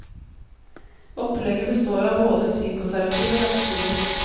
Opplegget består av både psykoterapi og medisiner.